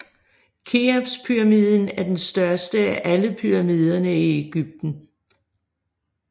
Keopspyramiden er den største af alle pyramidene i Egypten